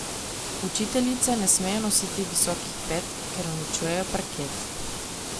Učiteljice ne smejo nositi visokih pet, ker uničujejo parket.